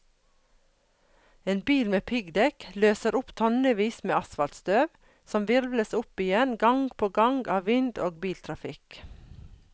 En bil med piggdekk løser opp tonnevis med asfaltstøv, som hvirvles opp igjen gang på gang av vind og biltrafikk.